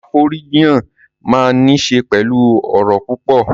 Afọ̀rọ̀jíyàn máa n ni ṣe pẹlú ọrọ̀ púpọ̀.